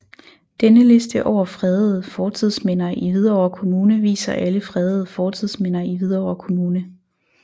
Denne liste over fredede fortidsminder i Hvidovre Kommune viser alle fredede fortidsminder i Hvidovre Kommune